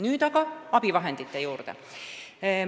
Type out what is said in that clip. Nüüd aga abivahendite juurde.